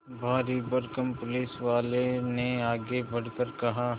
भारीभरकम पुलिसवाले ने आगे बढ़कर कहा